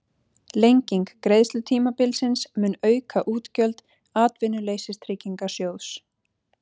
Lenging greiðslutímabilsins mun auka útgjöld Atvinnuleysistryggingasjóðs